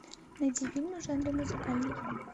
найди фильмы в жанре музыкальный